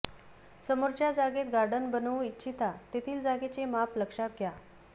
समोरच्या जागेत गार्डन बनवू इच्छिता तेथील जागेचे माप लक्षात घ्या